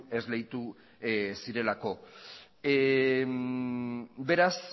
esleitu zirelako beraz